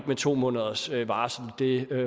med to måneders varsel og det